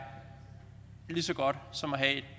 lige så godt som at have et